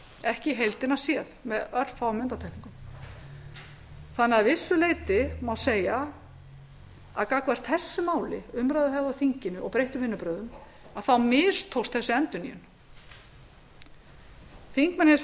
ekki í heildina séð með örfáum undantekningum þó að vissu leyti má því segja að hvað umræðuhefð á þinginu varðar og breytt vinnubrögð hafi þessi endurnýjun mistekist háttvirtir þingmenn hafa